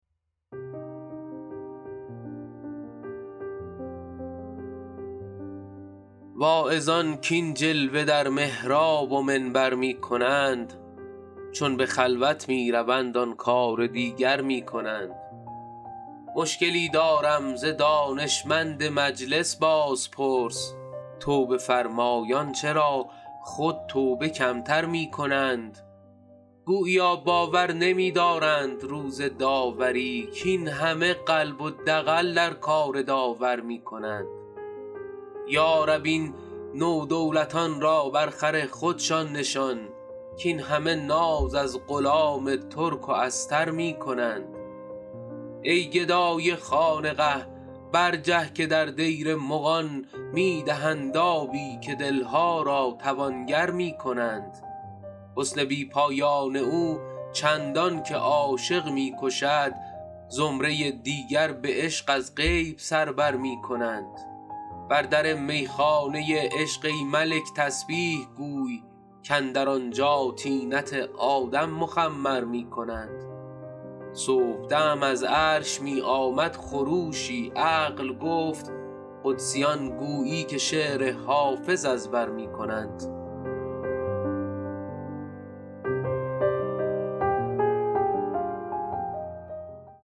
واعظان کاین جلوه در محراب و منبر می کنند چون به خلوت می روند آن کار دیگر می کنند مشکلی دارم ز دانشمند مجلس بازپرس توبه فرمایان چرا خود توبه کم تر می کنند گوییا باور نمی دارند روز داوری کاین همه قلب و دغل در کار داور می کنند یا رب این نودولتان را با خر خودشان نشان کاین همه ناز از غلام ترک و استر می کنند ای گدای خانقه برجه که در دیر مغان می دهند آبی و دل ها را توانگر می کنند حسن بی پایان او چندان که عاشق می کشد زمره دیگر به عشق از غیب سر بر می کنند بر در می خانه عشق ای ملک تسبیح گوی کاندر آنجا طینت آدم مخمر می کنند صبح دم از عرش می آمد خروشی عقل گفت قدسیان گویی که شعر حافظ از بر می کنند